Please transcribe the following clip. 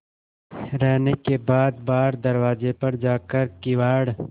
रहने के बाद बाहर दरवाजे पर जाकर किवाड़